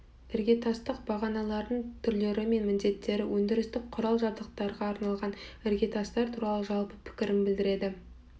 іргетастық бағаналардың түрлері мен міндеттері өндірістік құрал-жабдықтарға арналған іргетастар туралы жалпы пікірін білдіреді